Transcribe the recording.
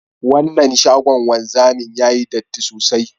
Wannan shagon wanzami yayi datti sosai